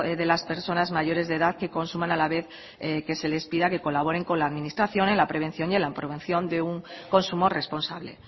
de las personas mayores de edad que consuman a la vez que se les pida que colaboren con la administración en la prevención y promoción de un consumo responsable